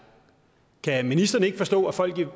kan ministeren ikke forstå at folk